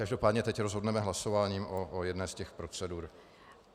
Každopádně teď rozhodneme hlasováním o jedné z těch procedur.